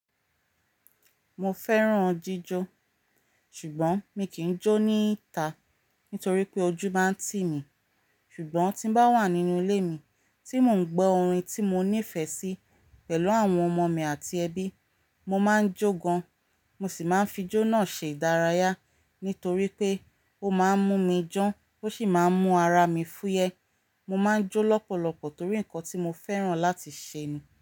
Mo fẹ́ràn jíjọ ṣùgbọ́n mi kì í jó ní ìta nítorí pé ojú máa ń tì mí. Ṣùgbọ́n tí bá wà nínú ilé mi tí mò ń gbọ́ orin tí mo nífẹ̀ẹ́ sí pẹ̀lú àwọn ọmọ mi àti ẹbí, mo máa ń jó gan. Mo sì máa ń fi jó náà ṣe ìdárayá nítorí pé ó máa ń mú mi dan ó sì máa ń mú ara mi fúyẹ́. Mo máa ń jó lọ́pọ̀lọpọ̀ torí ǹkan tí mo fẹ́ràn láti ṣe ni.